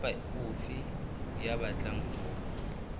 kapa ofe ya batlang ho